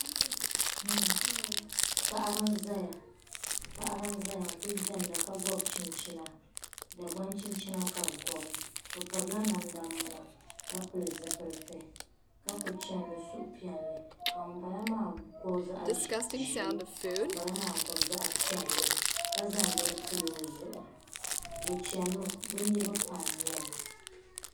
Paɣaba n zaya paɣaba n zaya n kuli diɛmda ka gɔbi chinchina dagban chinchina ka bɛ gɔbi bɛ pirila namda muna ka pili zipiliti ka ku chɛni ni suhupiɛlli ka ŋun bala maa gɔbi zaɣi ʒee ka ŋun bala maa gɔbi zaɣi piɛlla ka zaŋ bɛni pili o zuɣu bɛ chɛni mi bɛ niriba pam nyɛba.